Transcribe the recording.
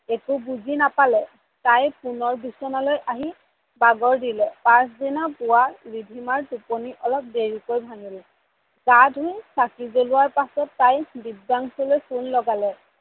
একো বুজি নাপালে, তাই পুনৰ বিছনালৈ আহি বাগৰ দিলে পাছদিনা পূৱা ৰিধিমাৰ টোপনি অলপ দেৰিকৈ ভাঙিলে, গা ধুই চাকি জ্বলাই তাই দিব্যাংসুলৈ phone লগালে।